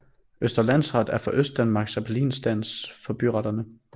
Østre Landsret er for Østdanmark appelinstans for byretterne